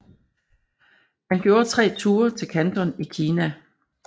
Han gjorde tre ture til Kanton i Kina